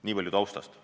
Nii palju taustast.